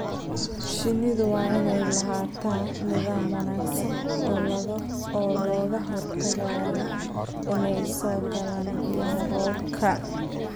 Shinnidu waa inay lahaataa nidaam wanaagsan oo looga hortagayo inay soo galaan biyaha roobka.